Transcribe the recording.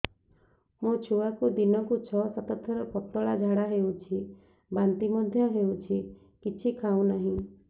ମୋ ଛୁଆକୁ ଦିନକୁ ଛ ସାତ ଥର ପତଳା ଝାଡ଼ା ହେଉଛି ବାନ୍ତି ମଧ୍ୟ ହେଉଛି କିଛି ଖାଉ ନାହିଁ